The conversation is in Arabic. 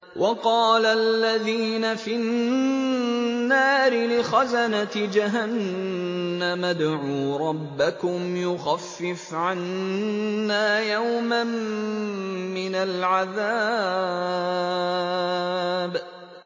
وَقَالَ الَّذِينَ فِي النَّارِ لِخَزَنَةِ جَهَنَّمَ ادْعُوا رَبَّكُمْ يُخَفِّفْ عَنَّا يَوْمًا مِّنَ الْعَذَابِ